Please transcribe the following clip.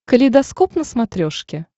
калейдоскоп на смотрешке